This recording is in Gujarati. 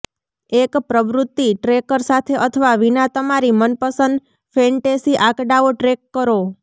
એક પ્રવૃત્તિ ટ્રેકર સાથે અથવા વિના તમારી મનપસંદ ફૅન્ટેસી આંકડાઓ ટ્રૅક કરો